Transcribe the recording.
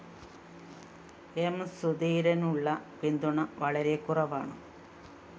M സുധീരനുള്ള പിന്തുണ വളരെക്കുറവാണ്